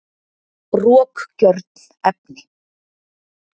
rokgjörn efni